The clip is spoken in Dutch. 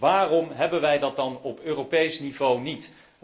Waarom hebben wij dat dan op Europees niveau niet?